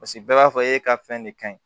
Paseke bɛɛ b'a fɔ e ka fɛn de ka ɲi